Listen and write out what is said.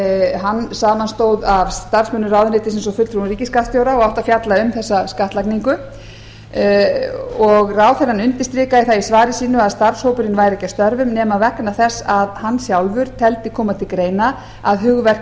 hann samanstóð af starfsmönnum ráðuneytisins og fulltrúum ríkisskattstjóra og átti að fjalla um þessa skattlagningu og ráðherrann undirstrikaði það í svari sínu að starfshópurinn væri ekki að störfum nema vegna þess að hann sjálfur teldi koma til greina að hugverk